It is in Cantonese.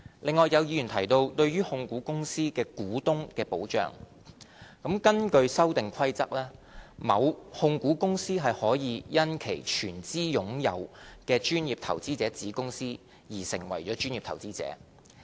另外，有議員提到對於控股公司的股東的保障，根據《修訂規則》，某控股公司可以因其全資擁有的專業投資者子公司而成為專業投資者。